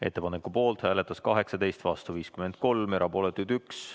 Ettepaneku poolt hääletas 18, vastu 53, erapooletuid oli 1.